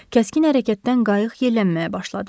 Kəskin hərəkətdən qayıq yellənməyə başladı.